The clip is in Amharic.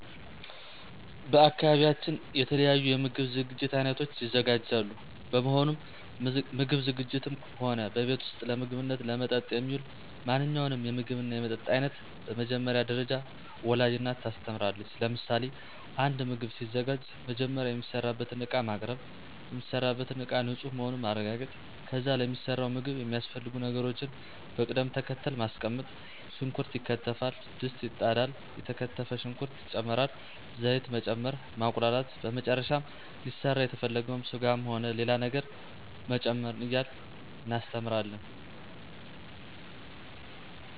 በአካባቢያችን የተለያዩ የምግብ ዝግጅት አይነቶች ይዘጋጃሉ በመሆኑም ምግብ ዝግጂትም ሆነ በቤት ውስጥ ለምግብነትና ለመጠጥ የሚውል ማንኛውንም የምግብና የመጠጥ አይነት በመጀመሪያ ደረጃ ወላጅ እናት ታስተምራለች ለምሳሌ፦ አንድ ምግብ ሲዘጋጅ መጀመሪያ የሚሰራበትን እቃ ማቅርብ፣ የሚሰራበትን እቃ ንፁህ መሆኑን ማረጋገጥ ከዚያ ለሚሰራው ምግብ የሚያስፈልጉ ነገሮችን በቅድም ተከተል ማስቀመጥ ሽንኩርት ይከተፋል፣ ድስት ይጣዳል፣ የተከተፈ ሽንኩርት ይጨመራል፣ ዘይት መጨመር፣ ማቁላላት በመጨረሻም ሊሰራ የተፈለገውን ስጋም ሆነ ሌላ ነገር መጨመር እያልን እናስተምራለን።